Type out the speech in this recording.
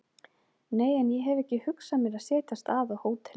Nei, en ég hef ekki hugsað mér að setjast að á hóteli